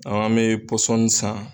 An bɛ san.